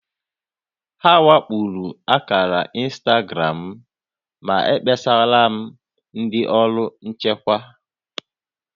A wakporo akàrà ịnstagram m, ma ekpesarala m ndị ọrụ nchịkwa